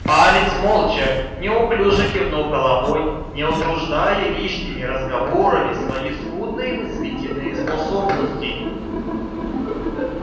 палец молча неуклюже кивнул головой не утруждая лишними разговорами свои скудные мыслительные способности